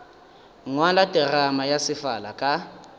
ngwala terama ya sefala ka